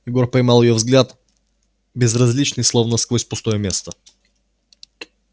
егор поймал её взгляд безразличный словно сквозь пустое место